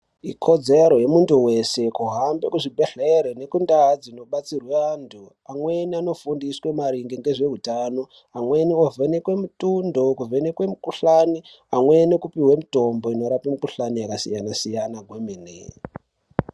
Ikodzero yemuntu weshe kuhamba kuzvibhedhlera nekundau dzinobatsirwa antu amweni anofundiswa maringe nezvehutano amweni ovhenekwa mitundo kuvhenekwa mikuhlani amweni opihwe mitombo inorapa mikuhlani yakasiyana siyana kwemene.